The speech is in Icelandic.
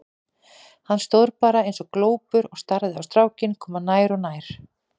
Hann stóð bara eins og glópur og starði á strákinn koma nær og nær.